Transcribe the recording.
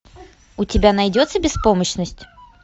у тебя найдется беспомощность